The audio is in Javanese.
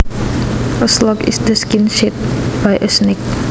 A slough is the skin shed by a snake